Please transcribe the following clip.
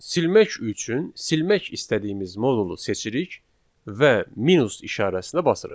Silmək üçün silmək istədiyimiz modulu seçirik və minus işarəsinə basırıq.